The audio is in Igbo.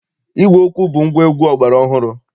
Ígwè okwu bụ ngwaegwu ọgbara ọhụrụ.